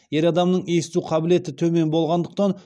ер адамның есту қабілеті төмен болғандықтан